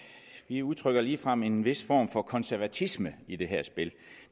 vi udtrykker ligefrem en vis form for konservatisme i det her spil